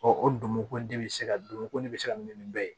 o ko di bɛ se ka dunmogo ko ne bɛ se ka min ni bɛɛ ye